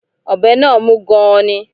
Ọ̀bẹ náà mú gan-an ni